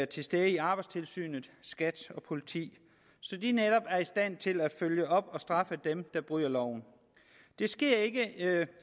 til stede i arbejdstilsynet skat og politiet så de netop er i stand til at følge op og straffe dem der bryder loven det sker ikke